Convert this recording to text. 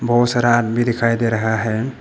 बहोत सारा आदमी दिखाई दे रहा है।